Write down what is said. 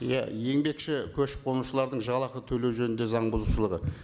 иә еңбекші көшіп қонушылардың жалақы төлеу жөнінде заң бұзушылығы